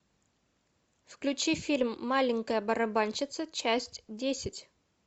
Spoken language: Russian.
включи фильм маленькая барабанщица часть десять